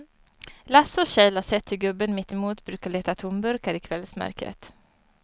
Lasse och Kjell har sett hur gubben mittemot brukar leta tomburkar i kvällsmörkret.